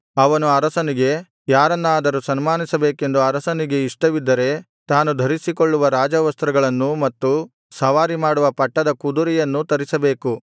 ಅವನು ಅರಸನಿಗೆ ಯಾರನ್ನಾದರೂ ಸನ್ಮಾನಿಸಬೇಕೆಂದು ಅರಸನಿಗೆ ಇಷ್ಟವಿದ್ದರೆ ತಾನು ಧರಿಸಿಕೊಳ್ಳುವ ರಾಜ ವಸ್ತ್ರಗಳನ್ನೂ ಮತ್ತು ಸವಾರಿಮಾಡುವ ಪಟ್ಟದ ಕುದುರೆಯನ್ನೂ ತರಿಸಬೇಕು